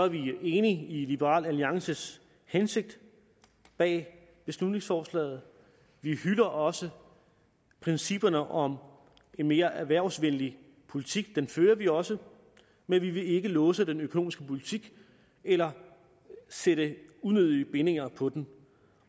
vi er enige i liberal alliances hensigt bag beslutningsforslaget vi hylder også principperne om en mere erhvervsvenlig politik den fører vi også men vi vil ikke låse den økonomiske politik eller sætte unødige bindinger på den